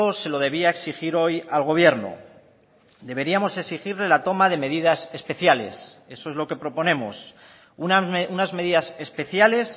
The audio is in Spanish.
se lo debía exigir hoy al gobierno deberíamos exigirle la toma de medidas especiales eso es lo que proponemos unas medidas especiales